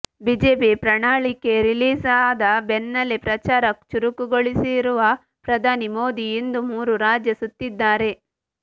BJP ಪ್ರಣಾಳಿಕೆ release ಆದ ಬೆನ್ನಲ್ಲೆ ಪ್ರಚಾರ ಚುರುಕುಗೊಳಿಸಿರುವ ಪ್ರಧಾನಿ ಮೋದಿ ಇಂದು ಮೂರು ರಾಜ್ಯ ಸುತ್ತಿದ್ದಾರೆ